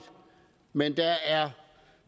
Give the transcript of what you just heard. men der er